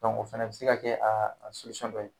o fɛnɛ bɛ se ka kɛ a a dɔ ye.